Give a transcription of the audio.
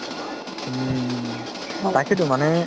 হুম তাকেইতো মানে